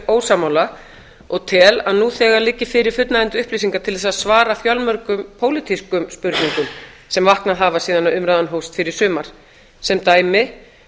ósammála og tel að nú þegar liggi fyrir fullnægjandi upplýsingar til að svara fjölmörgum pólitískum spurningum sem vaknað hafa síðan umræðan hófst hér í sumar sem dæmi